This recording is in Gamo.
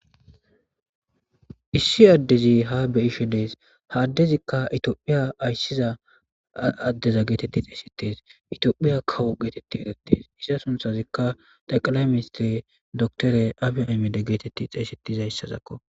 Issi addezi ha beyishe dees haaddezikka itiophiya ayssiza addeza geetetti xeesetes itiophiya kawu geetetti egettes issa sunthazikka daqala mise dotore abi amide geetetti xeesetiza hyssazakko